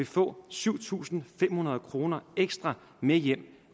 få syv tusind fem hundrede kroner ekstra med hjem